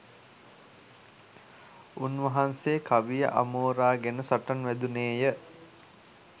උන්වහන්සේ කවිය අමෝරාගෙන සටන් වැදුණේ ය.